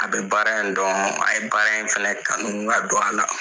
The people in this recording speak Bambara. A bɛ baara in dɔn, a ye baara in fana kanu ka don a la.